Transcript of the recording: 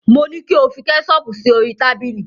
Mo ní kí o fi kẹ́ṣọọ̀pù sí orí tábìlì.